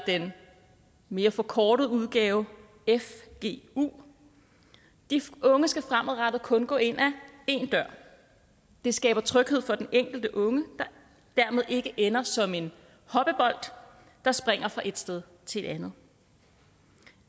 i den mere forkortede udgave de unge unge skal fremadrettet kun gå ind af én dør det skaber tryghed for den enkelte unge der dermed ikke ender som en hoppebold der springer fra et sted til